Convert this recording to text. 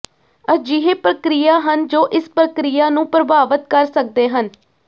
ਅਜਿਹੇ ਪ੍ਰਕਿਰਿਆ ਹਨ ਜੋ ਇਸ ਪ੍ਰਕਿਰਿਆ ਨੂੰ ਪ੍ਰਭਾਵਤ ਕਰ ਸਕਦੇ ਹਨ